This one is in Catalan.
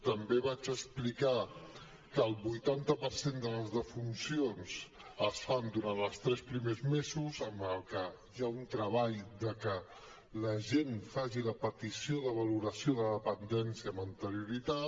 també vaig explicar que el vuitanta per cent de les defuncions es fan durant els tres primers mesos amb la qual cosa hi ha un treball perquè la gent faci la petició de valoració de dependència amb anterioritat